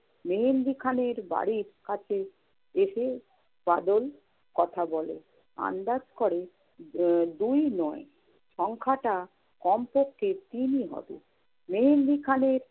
মেহেন্দি খানের বাড়ির কাছে এসে বাদল কথা বলে। আন্দাজ করে, উম দুই নয় সংখ্যাটা কমপক্ষে তিনই হবে। মেহেন্দি খানের